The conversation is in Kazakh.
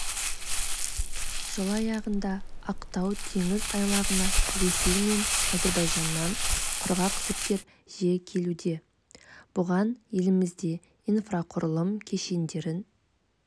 жыл аяғында ақтау теңіз айлағына ресей мен әзербайжаннан құрғақ жүктер жиі келуде бұған елімізде инфрақұрылым кешендерін